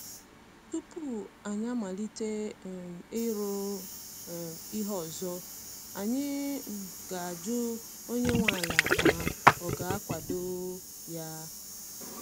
Tupu anyi amalite um ịrụ um ihe ọzọ, anyị um ga ajụ onye nwe ala ma ọ ga-akwado ya